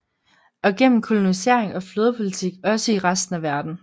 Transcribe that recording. Og gennem kolonisering og flådepolitik også i resten af verden